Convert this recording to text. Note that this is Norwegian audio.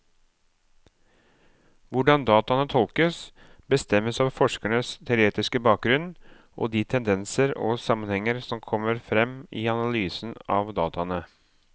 Hvordan dataene tolkes, bestemmes av forskerens teoretiske bakgrunnen og de tendenser og sammenhenger som kommer frem i analysen av dataene.